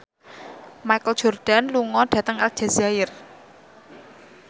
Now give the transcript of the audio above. Michael Jordan lunga dhateng Aljazair